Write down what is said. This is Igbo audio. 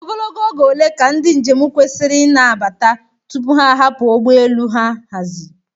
Ogologo oge ole ka ndị njem kwesịrị ịna-abata tupu ha ahapụ ụgbọ elu ha haziri?